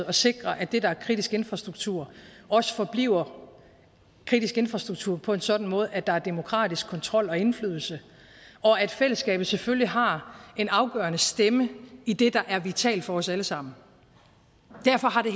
at sikre at det der er kritisk infrastruktur også forbliver kritisk infrastruktur på en sådan måde at der er demokratisk kontrol og indflydelse og at fællesskabet selvfølgelig har en afgørende stemme i det der er vitalt for os alle sammen derfor har det